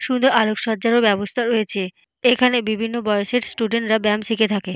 সুন্দর আলোকসজ্জার ও ব্যবস্থা রয়েছে। এখানে বিভিন্ন বয়সের স্টুডেন্ট রা ব্যায়াম শিখে থাকে।